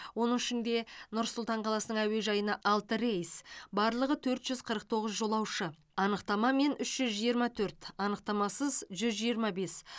оның ішінде нұр сұлтан қаласының әуежайына алты рейс барлығы төрт жүз қырық тоғыз жолаушы анықтамамен үш жүз жиырма төрт анықтамасыз жүз жиырма бес